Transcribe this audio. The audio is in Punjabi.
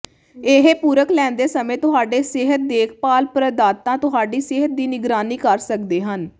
ਇਹ ਪੂਰਕ ਲੈਂਦੇ ਸਮੇਂ ਤੁਹਾਡੇ ਸਿਹਤ ਦੇਖਭਾਲ ਪ੍ਰਦਾਤਾ ਤੁਹਾਡੀ ਸਿਹਤ ਦੀ ਨਿਗਰਾਨੀ ਕਰ ਸਕਦੇ ਹਨ